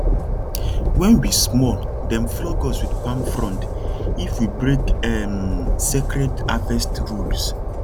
when we small dem flog us with palm frond if we break um sacred harvest rules